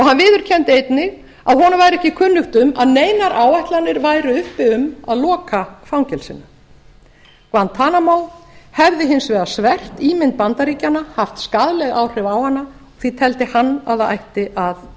hann viðurkenndi einnig að honum væri ekki kunnugt um að neinar áætlanir væru uppi um að loka fangelsinu guantanamo hefði hins vegar svert ímynd bandaríkjanna haft skaðleg áhrif á hana því teldi hann að það ætti að